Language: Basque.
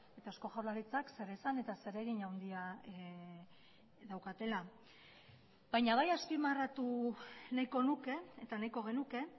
eta eusko jaurlaritzak zeresan eta zer egin handia daukatela baina bai azpimarratu nahiko nuke eta nahiko genuke